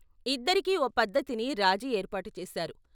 ఇద్దరికీ ఓ పద్ధతిని రాజీ ఏర్పాటు చేశారు.